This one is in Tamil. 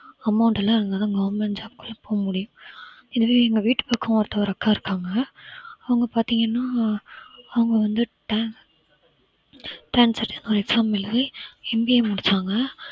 amount எல்லாம் இருந்தாதான் government job குள்ள போக முடியும் இதுவே எங்க வீட்டு பக்கம் ஒருத்தர் அக்கா இருக்காங்க அவங்க பார்த்தீங்கன்னா அவங்க வந்து exam எழுதி MBA முடிச்சாங்க